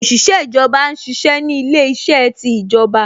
Òṣìṣẹ́ ìjọba ṣiṣẹ́ ni ilé iṣẹ́ ti ìjọba